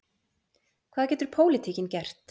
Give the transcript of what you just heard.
Hvað getur pólitíkin gert?